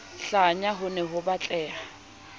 hlanya ho ne ho batleha